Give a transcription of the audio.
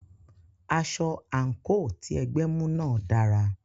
Aṣọ/àǹkò tí ẹgbẹ́ mú náà dára.